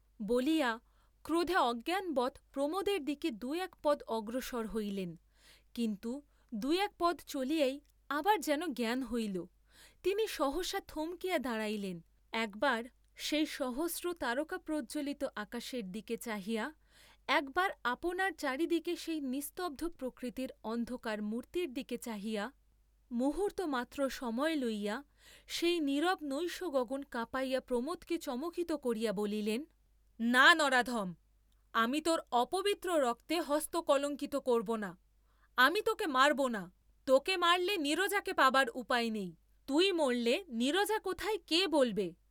বলিয়া ক্রোধে অজ্ঞানবৎ প্রমোদের দিকে দুই এক পদ অগ্রসর হইলেন, কিন্তু দুই এক পদ চলিয়াই আবার যেন জ্ঞান হইল, তিনি সহসা থমকিয়া দাঁড়াইলেন, একবার সেই সহস্র তারকাপ্রজ্জ্বলিত আকাশের দিকে চাহিয়া একবার আপনার চারিদিকে সেই নিস্তব্ধ প্রকৃতির অন্ধকার মূর্ত্তির দিকে চাহিয়া, মুহূর্ত্তমাত্র সময় লইয়া সেই নীরব নৈশগগন কাঁপাইয়া প্রমোদকে চমকিত করিয়া বলিলেন, না নরাধম, আমি তোর অপবিত্র রক্তে হস্ত কলঙ্কিত করব না, আমি তোকে মারব না, তোকে মারলে নীরজাকে পাবার উপায় নেই, তুই মরলে নীরজা কোথায় কে বলবে?